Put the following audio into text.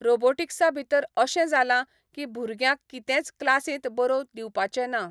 रोबोटिक्सा भितर अशें जाला की भुरग्यांक कितेंच क्लासींत बरोवन दिवपाचें ना.